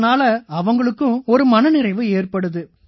இதனால அவங்களுக்கும் ஒரு மன நிறைவு ஏற்படுது